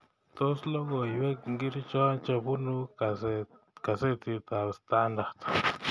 Tos logoywek ngircho chebunu kasetitab standart